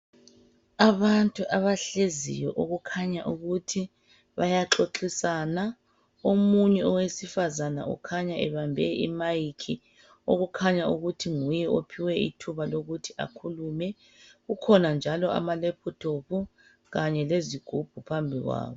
Abantu abahleziyo okukhanya ukuthi bayaxoxisana omunye wesifazana ukhanya ebambe imic okukhanya ukuthi nguye ophiwe ithuba lokuthi akhulumele ukhona njalo amalephuthophu kanye lezigubhu .phambili kwabo.